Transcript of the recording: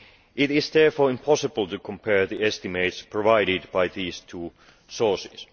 It is therefore impossible to compare the estimates provided by these two sources.